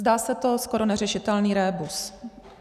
Zdá se to skoro neřešitelný rébus.